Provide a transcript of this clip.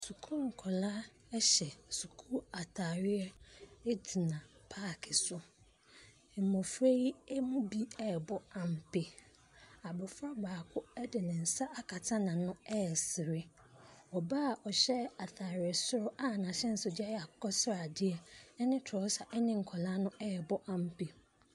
Sukuu nkɔlaa ɛhyɛ sukuu ntaareɛ agyina paaki so. Mmofra yi ɛmu bi ɛbɔ ampe. Abofra baako ɛde nensa akata n'ano ɛsere. Ɔbaa a ɔhyɛ ataare soro s n'ahyɛnso deɛ ɛyɛ akokɔsrade ɛne trɔsa ɛne nkɔlaa no ɛbɔ ampe.